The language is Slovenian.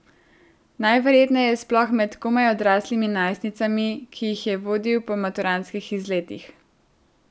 Najverjetneje sploh med komaj odraslimi najstnicami, ki jih je vodil po maturantskih izletih ...